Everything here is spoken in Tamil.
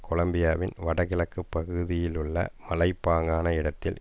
கொலம்பியாவின் வடகிழக்கு பகுதியிலுள்ள மலைப்பாங்கான இடத்தில்